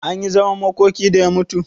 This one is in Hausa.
Anyi zaman makoki da ya mutu?